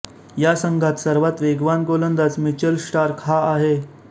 या संघात सर्वात वेगवान गोलंदाज मिचेल स्टार्क हा आहे